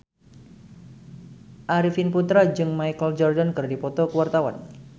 Arifin Putra jeung Michael Jordan keur dipoto ku wartawan